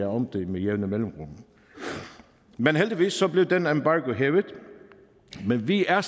om det med jævne mellemrum heldigvis blev den embargo hævet men vi er